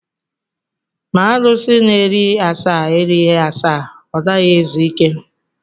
Ma arụsi na-eri asaa erighị asaa, ọ naghị ezu ike.